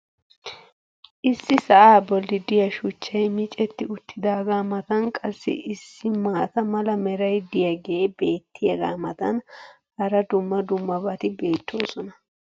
issi sa"aa boli diyaa shuchchay micetti uttidaagaa matan qassi issi maata mala meray diyaagee beetiyaagaa matan hara dumma dummabati beetoosona.